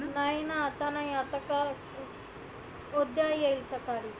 नाही ना आता नाही आता कल उद्या येईल सकाळी.